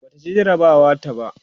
Bata ci jarabawar ta ba